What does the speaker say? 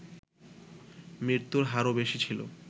মৃত্যুর হারও বেশি ছিল